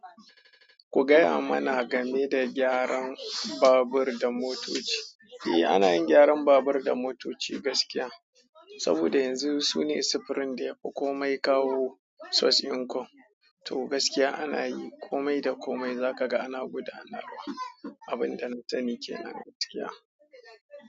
Ku gaya mana game da gyaran babur da motoci. Eh ana yin gyaran babur da motoci gaskiya, saboda yanzu sune sufurin da yafi komai kawo sos inkom. To gaskiya ana yi, komai da komai za ka ga ana gudanarwa. Abin da na sani ke nan a tiya.